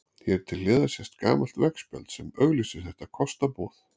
Hér til hliðar sést gamalt veggspjald sem auglýsir þetta kostaboð.